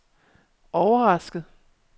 overrasket